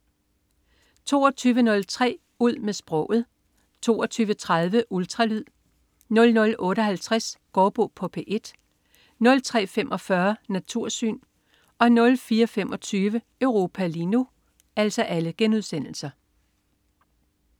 22.03 Ud med sproget* 22.30 Ultralyd* 00.58 Gaardbo på P1* 03.45 Natursyn* 04.25 Europa lige nu*